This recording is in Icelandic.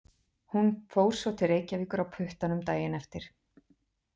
Hún fór svo til Reykjavíkur á puttanum daginn eftir.